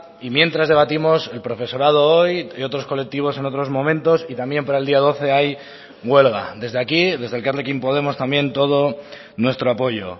y mientras debatimos el profesorado hoy y otros colectivos en otros momentos y también para el día doce hay huelga desde aquí desde elkarrekin podemos también todo nuestro apoyo